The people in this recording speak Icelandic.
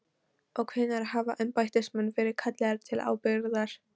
Og hvenær hafa embættismenn verið kallaðir til ábyrgðar?